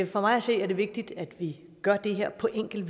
for mig at se er det vigtigt at vi gør det her på en enkel